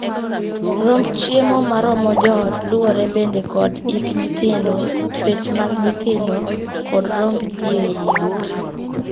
Romb chiemo ma romo joot luwore bende kod hik nyithindo, chuech mag nyithindo, kod romb jii ei ot.